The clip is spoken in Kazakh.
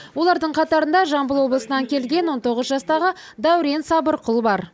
олардың қатарында жамбыл облысынан келген он тоғыз жастағы дәурен сабырқұл бар